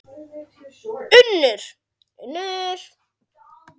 UNNUR: Unnur.